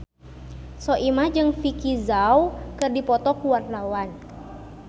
Soimah jeung Vicki Zao keur dipoto ku wartawan